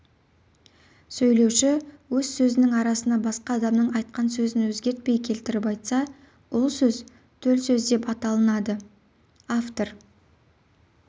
сөйлеуші өз сөзінің арасына басқа адамның айтқан сөзін өзгертпей келтіріп айтса ол сөздер төл сөз деп аталынады автор